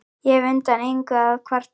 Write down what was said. Ég hef undan engu að kvarta.